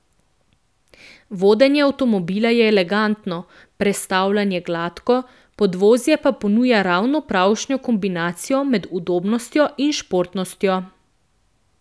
Vodenje avtomobila je elegantno, prestavljanje gladko, podvozje pa ponuja ravno pravšnjo kombinacijo med udobnostjo in športnostjo.